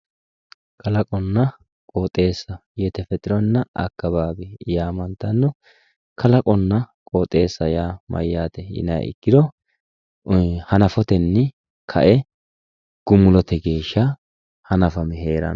Kalaqonna qoxxeesa, yetefexeronna akawawi yamantano, kalaqonna qoxxeessa yaa mayate yinniha ikkiro hanafotenni kae gumulote geeshsha hanafame heerano